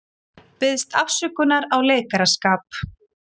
Biðst afsökunar á leikaraskap